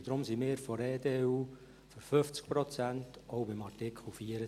Deshalb sind wir von der EDU für 50 Prozent, auch bei Artikel 24.